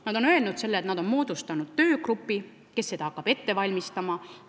Nad on öelnud, et nad on moodustanud töögrupi, kes hakkab seda ette valmistama.